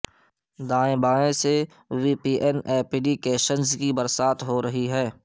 دائیں بائیں سے V P N applications کی برسات ہورہی ہے